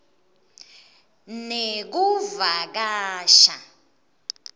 nekuvakasha